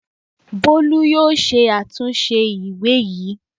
Bólú yóò ṣe àtilúnṣe ìwé yìí!